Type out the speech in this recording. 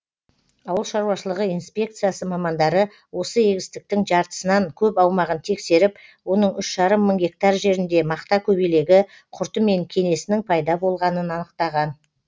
ауыл шаруашылығы инспекциясы мамандары осы егістіктің жартысынан көп аумағын тексеріп оның үш жарым мың гектар жерінде мақта көбелегі құрты мен кенесінің пайда болғанын анықтаған